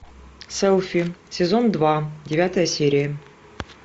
селфи сезон два девятая серия